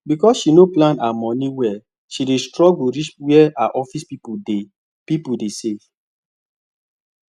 because she no plan her money well she dey struggle reach where her office people dey people dey save